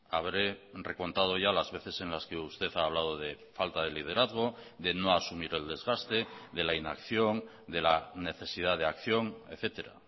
habré recontado ya las veces en las que usted ha hablado de falta de liderazgo de no asumir el desgaste de la inacción de la necesidad de acción etcétera